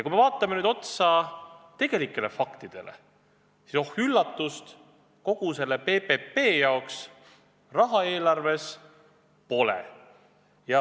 Kui vaatame nüüd otsa tegelikele faktidele, siis oh üllatust, kogu selle PPP jaoks eelarves raha pole.